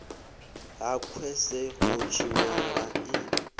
ha khwese ho tshinyala i